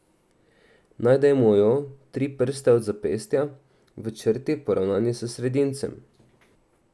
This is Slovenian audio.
Najdemo jo tri prste od zapestja, v črti, poravnani s sredincem.